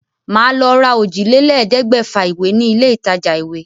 Màá lọ ra òjìlélẹ̀ẹ́dẹ́gbẹ̀fà ìwé ní ilé ìtajà-ìwé.